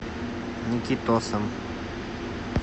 никитосом